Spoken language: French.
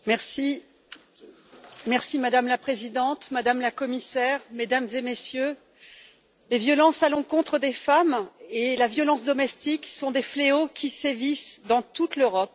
Madame la Présidente, Madame la Commissaire, Mesdames et Messieurs, les violences à l'encontre des femmes et la violence domestique sont des fléaux qui sévissent dans toute l'Europe et il faut agir en urgence.